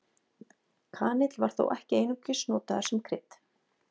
Kanill var þó ekki einungis notaður sem krydd.